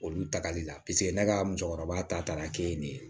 Olu tagali la paseke ne ka musokɔrɔba ta taara kɛ nin ye